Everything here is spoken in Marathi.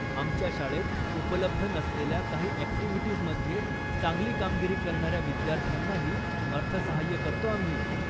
आमच्या शाळेत उपलब्ध नसलेल्या काही ॲक्टिव्हिटीजमध्ये चांगली कामगिरी करणाऱ्या विद्यार्थ्यांनाही अर्थसहाय्य करतो आम्ही.